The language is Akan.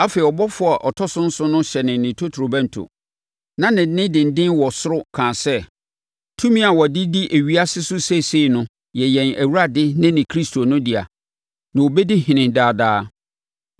Afei, ɔbɔfoɔ a ɔtɔ so nson hyɛnee ne totorobɛnto, na nne denden wɔ ɔsoro kaa sɛ, “Tumi a wɔde di ewiase so seesei no yɛ yɛn Awurade ne ne Kristo no dea, na ɔbɛdi ɔhene daa daa.”